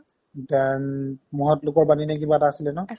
then মহৎলোকৰ বাণী নে কিবা এটা আছিলে ন